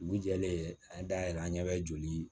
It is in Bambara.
Dugu jɛlen an da yɛrɛ an ɲɛ bɛ joli